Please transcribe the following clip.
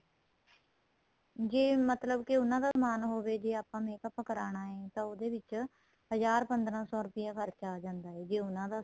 ਜੇ ਮਤਲਬ ਕੇ ਉਹਨਾ ਦਾ ਸਮਾਨ ਹੋਵੇ ਜੇ ਆਪਾਂ ਨੇ makeup ਕਰਾਣਾ ਏ ਤਾਂ ਉਹਦੇ ਵਿਚ ਹਜ਼ਾਰ ਪੰਦਰਾਂ ਸੋ ਰੂਪਏ ਖਰਚਾ ਆਂ ਜਾਂਦਾ ਏ ਜੇ ਉਹਨਾ ਦਾ